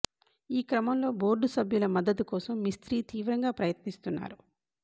ఈ క్రమంలో బోర్డు సభ్యుల మద్దతు కోసం మిస్ర్తి తీవ్రంగా ప్రయత్నిస్తున్నారు